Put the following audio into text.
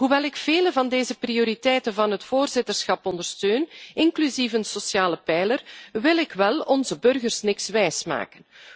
Hoewel ik vele van deze prioriteiten van het voorzitterschap ondersteun, inclusief een sociale pijler, wil ik onze burgers niets wijsmaken.